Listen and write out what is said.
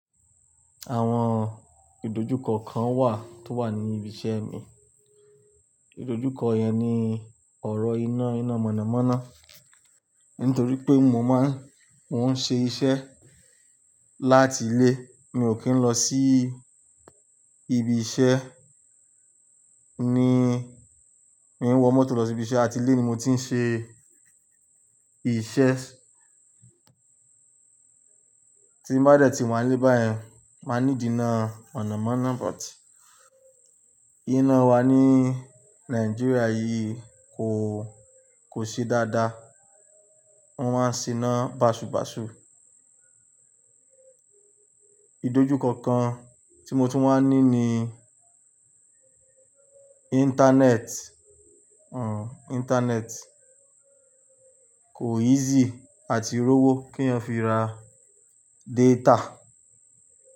Àwọn ìdójúkọ kan wà tó wà ní ibi iṣẹ́ mi. Ìdójúkọ yẹn ni ọ̀rọ̀ iná iná mọ̀nàmọ́ná. Nítorí pé mo máa ń, mo ń ṣe iṣẹ́ láti ilé. Mi ò kí ń lọ sí ibi iṣẹ́. Ni, mi ò ń wọ mọ́tò lọ sí ibi iṣẹ́, àti ilé ni mo ti ń ṣe iṣẹ́. Tí n bá dẹ̀tì wà ní bá yẹn, máa need i iná mọ̀nàmọ́ná, but iná wa ní Nigeria yìí kò, kò ṣe dáadáa. Wọ́n máa ń se'ná bàṣubàṣu. Ìdójúkọ kan tí mo tún wa ń ní ni Internet, Internet kò easy àti rowó kí ẹeyan fi ra data.